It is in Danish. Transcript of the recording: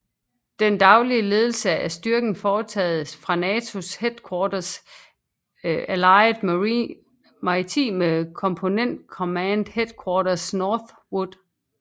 Den daglige ledelse af styrken foretages fra NATO Headquarters Allied Maritime Component Command Headquarters Northwood